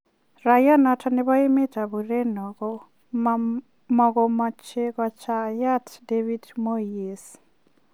Raia noton nebo emet ab Ureno ko mogomoche kochayat David Moyes.